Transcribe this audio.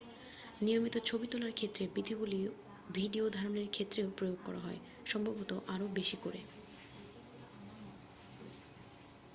নিয়মিত ছবি তোলার ক্ষেত্রে বিধিগুলো ভিডিও ধারণের ক্ষেত্রেও প্রয়োগ করা যায় সম্ভবত আরো বেশি করে